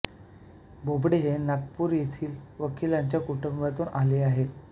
बोबडे हे नागपूर येथील वकिलांच्या कुटुंबातून आले आहेत